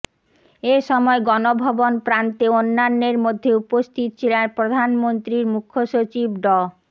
এ সময় গণভবন প্রান্তে অন্যান্যের মধ্যে উপস্থিত ছিলেন প্রধানমন্ত্রীর মুখ্য সচিব ড